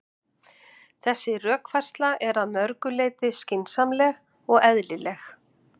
Þessi rökfærsla er að mörgu leyti skynsamleg og eðlileg.